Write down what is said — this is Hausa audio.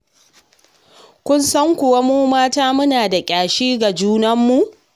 Kin san kuwa mu mata muna da ƙyashi ga junanmu.